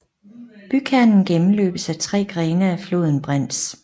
Bykernen gennmløbes af tre grene af floden Brenz